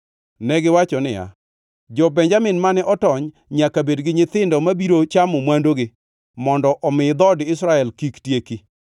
Negiwacho niya, “Jo-Benjamin mane otony nyaka bed gi nyithindo mabiro chamo mwandugi mondo omi dhood Israel kik tieki.